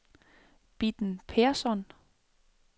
Bitten Persson